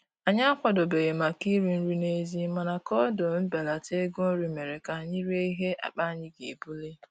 Anyị akwadobeghị maka iri nri n'èzí, mana koodu mbelata ego nri mere ka anyị rie ihe akpa anyị ga-ebuli